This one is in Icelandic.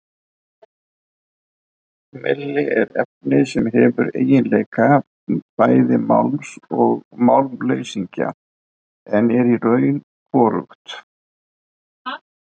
Melmi er efni sem hefur eiginleika bæði málms og málmleysingja en er í raun hvorugt.